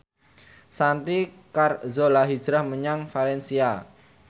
Santi Carzola hijrah menyang valencia